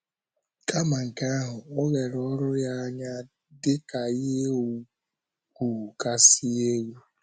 Kama nke ahụ, o lere oru ya anya dị ka ihe ùgwù kasị elu.